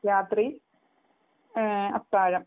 രാത്രി അത്താഴം